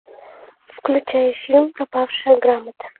включай фильм пропавшая грамота